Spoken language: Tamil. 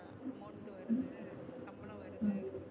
amount வருது சம்பளம் வருது